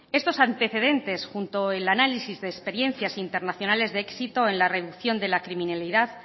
estos antecedentes junto el análisis de experiencias internacionales de éxitos en la reducción de la criminalidad